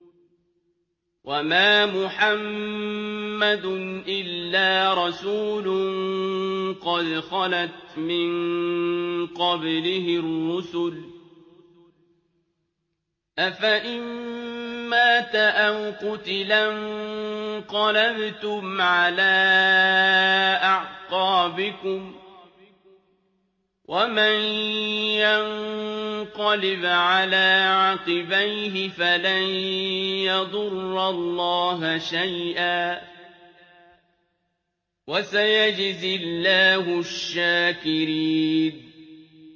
وَمَا مُحَمَّدٌ إِلَّا رَسُولٌ قَدْ خَلَتْ مِن قَبْلِهِ الرُّسُلُ ۚ أَفَإِن مَّاتَ أَوْ قُتِلَ انقَلَبْتُمْ عَلَىٰ أَعْقَابِكُمْ ۚ وَمَن يَنقَلِبْ عَلَىٰ عَقِبَيْهِ فَلَن يَضُرَّ اللَّهَ شَيْئًا ۗ وَسَيَجْزِي اللَّهُ الشَّاكِرِينَ